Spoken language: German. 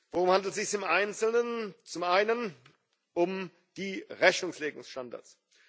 Worum handelt es sich im Einzelnen? Zum einen um die Rechnungslegungsstandards.